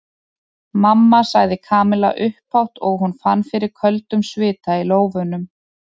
Mamma sagði Kamilla upphátt og hún fann fyrir köldum svita í lófunum.